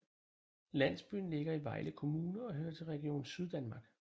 Landsbyen ligger i Vejle Kommune og hører til Region Syddanmark